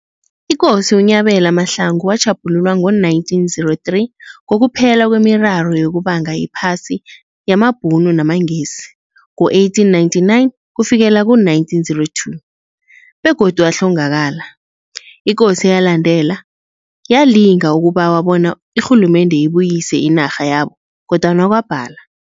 Ikosi uNyabela Mahlangu watjhaphululwa ngo 1903, ngokuphelakwe miraro yokubanga iphasi yamaBhunu namaNgesi, ngo 1899 - 1902, begodu wahlongakala. Ikosi eyalandela, yalinga ukubawa bona irhulumende ibuyise inarha yabo, kodwana kwabala.